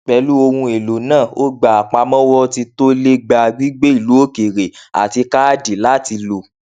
pẹlú ohun èlò náà ó gbà àpamọwọ tí tó le gbà gbígbé ilu òkèèrè àti káàdì láti lò